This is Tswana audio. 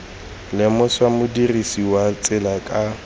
lemosa modirisi wa tsela ka